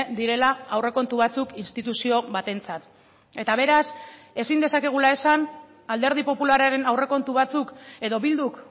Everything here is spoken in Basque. direla aurrekontu batzuk instituzio batentzat eta beraz ezin dezakegula esan alderdi popularraren aurrekontu batzuk edo bilduk